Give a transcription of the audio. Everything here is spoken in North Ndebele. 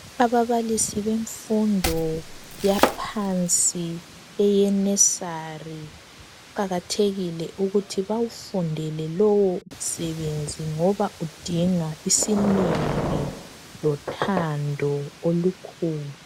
Ababalisi benfundo yaphansi eye nursery ,kuqakathekile ukuthi bawufundele lowo msebenzi ngoba udinga isineke lothando olukhulu.